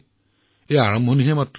সেয়া মাত্ৰ আৰম্ভণিহে